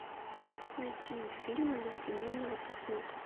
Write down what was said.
найти фильмы для семейного просмотра